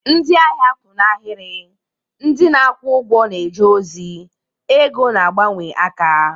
Ndị ahịa kwụ n'ahịrị, ndị na-akwụ ụgwọ na-eje ozi, ego na-agbanwe aka.